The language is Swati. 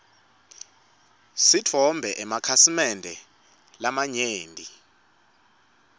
sitfole emakhasimende lamanyenti